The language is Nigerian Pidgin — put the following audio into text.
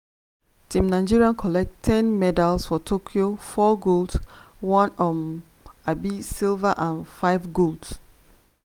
team nigeria collect ten medals for tokyo four golds one um um silver and five golds.